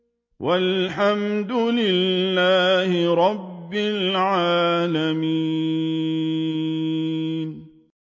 وَالْحَمْدُ لِلَّهِ رَبِّ الْعَالَمِينَ